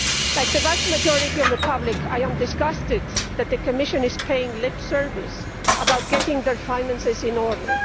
Like the vast majority of the public I am disgusted that the Commission is paying lip service to getting their finances in order.